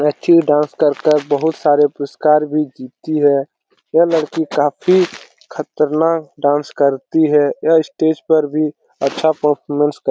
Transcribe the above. Actually dance कर कर बहुत सारे पुरस्कार भी जीतती है। यह लड़की काफी खतरनाक डांस करती है। यह स्टेज पर भी अच्छा परफॉरमेंस कर --